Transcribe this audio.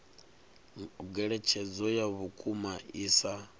ngeletshedzo ya vhukuma i sa